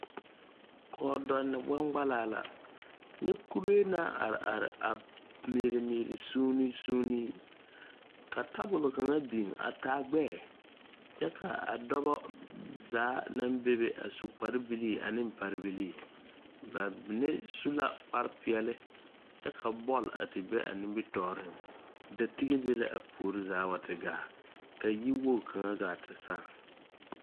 Kɔɔdɛnne gbaŋgbalaa la kyɛ kuree naŋ are are a mɛɛle mɛɛle sūūne sūūne ka tabole kaŋa biŋ a taa gbɛɛ kyɛ kaa a dɔbɔ zaa naŋ bebe a su kpare bilii ane parebilii ba mine su la kparepeɛle kyɛ ka bɔl a ti be a nimitooreŋ da tige be la a puore zaa wa ti gaa ka yi woge kaŋa gaa ti sãã.